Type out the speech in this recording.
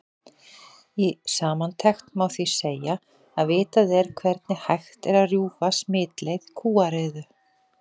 Í samantekt má því segja að vitað er hvernig hægt er að rjúfa smitleið kúariðu.